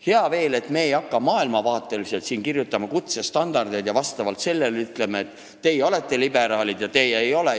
Hea veel, et me ei hakka siin maailmavaate alusel kutsestandardeid kirjutama ja ütlema, et teie olete liberaalid ja teie ei ole.